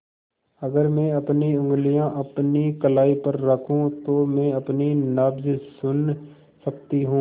अगर मैं अपनी उंगलियाँ अपनी कलाई पर रखूँ तो मैं अपनी नब्ज़ सुन सकती हूँ